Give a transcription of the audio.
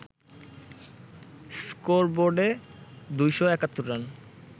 স্কোরবোর্ডে ২৭১ run